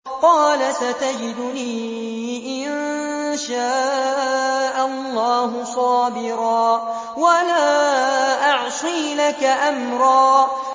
قَالَ سَتَجِدُنِي إِن شَاءَ اللَّهُ صَابِرًا وَلَا أَعْصِي لَكَ أَمْرًا